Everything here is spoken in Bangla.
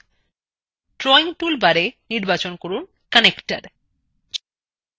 drawing toolbarএ নির্বাচন করুন connector